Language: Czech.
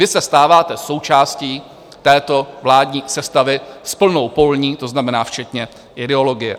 Vy se stáváte součástí této vládní sestavy s plnou polní, to znamená, včetně ideologie.